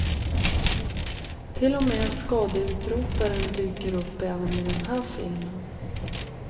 Till och med skadeutrotaren dyker upp även i den här filmen.